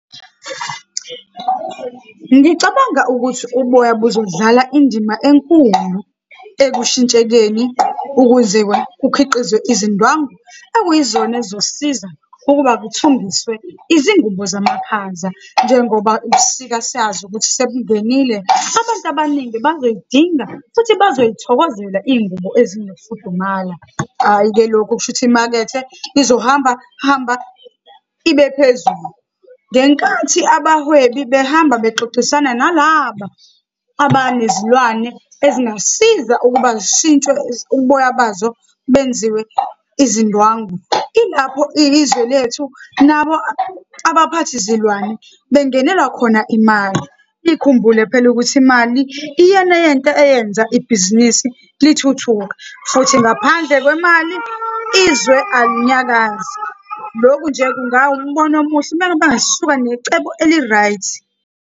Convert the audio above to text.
Ngicabanga ukuthi uboya buzodlala indima enkulu ekushintshekeni, ukuze-ke kukhiqizwe izindwangu okuyizona ezosiza ukuba kuthungiswe izingubo zamakhaza. Njengoba ubusika siyazi ukuthi sebungenile, abantu abaningi bazoyidinga futhi bazoyithokozela iy'ngubo ezinokufudumala. Hhayi-ke, lokhu kusho ukuthi imakethe izohambahamba ibephezulu. Ngenkathi abahwebi behamba bexoxisana nalaba abanezilwane ezingasiza ukuba zishintshwe uboya bazo benziwe izindwangu. Ilapho izwe lethu nabo abaphathi zilwane bengelwa khona imali. Nikhumbule phela ukuthi imali, iyona yento eyenza ibhizinisi lithuthuka, futhi ngaphandle kwemali izwe alinyakazi. Lokhu nje ngawumbona omuhle, uma ngabe bangasuka necebo eli-right.